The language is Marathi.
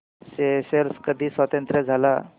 स्येशेल्स कधी स्वतंत्र झाला